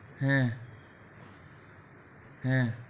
হ্যা হ্যা.